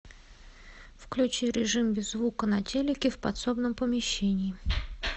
включи режим без звука на телике в подсобном помещении